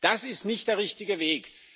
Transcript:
Das ist nicht der richtige Weg.